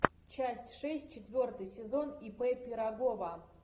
часть шесть четвертый сезон ип пирогова